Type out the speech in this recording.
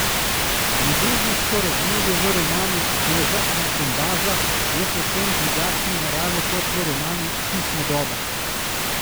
Ljubezensko razmerje v romanu Koža iz bombaža je povsem drugačne narave kot v romanu Sušna doba.